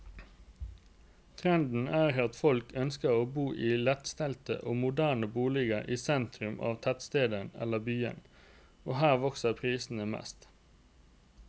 Trenden er at folk ønsker å bo i lettstelte og moderne boliger i sentrum av tettsteder eller byer, og her vokser prisene mest.